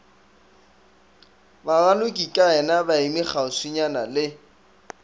baralokikayena ba eme kgauswinyana le